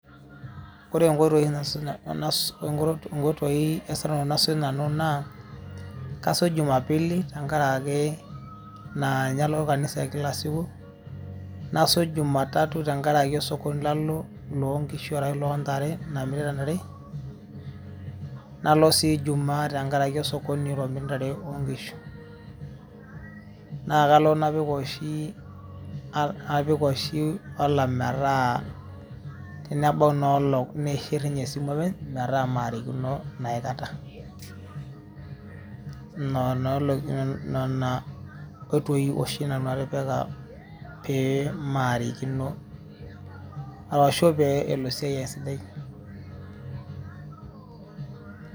Ore nkoitoii, nkoitoi esurare nasuj nanu naa, kasuj jumapili tenkaraki, naa nye alo kanisa e kila siku, nasuj jumatatu tenkaraki osokoni lalo lonkishu arashu lontare, namirita ntare, nalo si jumaa tenkaraki osokoni oiromi ntare onkishu. Na kalo napik oshi apik oshi alarm metaa, tenebau inoolong' niishir inye esimu openy, metaa marikino aikata. Nena olong'i nena oitoi oshi nanu atipika pee maarikino arshu pee elo esiai ai esidai.